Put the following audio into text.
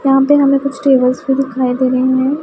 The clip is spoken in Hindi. यहां पर हमें कुछ टेबल्स भी दिखाई दे रहे हैं।